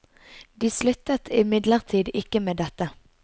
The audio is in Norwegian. De sluttet imidlertid ikke med dette.